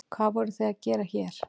Hvað voruð þið að gera hér?